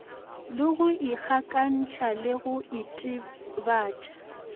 le ikgakantšha le go itebatša